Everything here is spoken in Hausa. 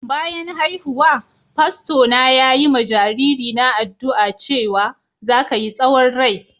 Bayan haihuwa, fasto na yayi ma jariri na addu'a cewa "Za ka yi tsawon rai. "